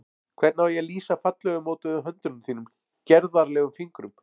Hvernig á ég að lýsa fallega mótuðum höndum þínum, gerðarlegum fingrum?